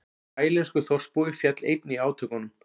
Taílenskur þorpsbúi féll einnig í átökunum